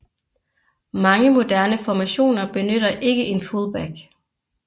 Mange moderne formationer benytter ikke en fullback